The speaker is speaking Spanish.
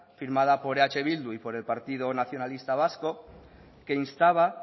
firmada por eh bildu y por el partido nacionalista vasco que instaba